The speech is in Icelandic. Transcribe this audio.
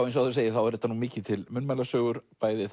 eins og áður segir þá eru þetta nú mikið til munnmælasögur bæði